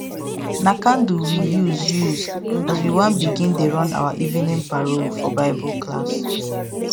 na candle we use use as we wan begin dey run our evening parol for bible class